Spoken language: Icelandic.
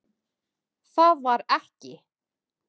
Það var ekki.